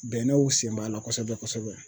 Bɛnɛw sen b'a la kosɛbɛ kosɛbɛ.